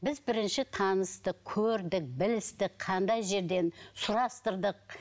біз бірінші таныстық көрдік білістік қандай жерден сұрастырдық